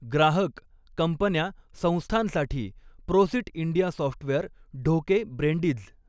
ग्राहक, कंपन्या, संस्थांसाठी प्रोसिट इंडिया सॉफ्टवेअर ढोके, ब्रेंडीज्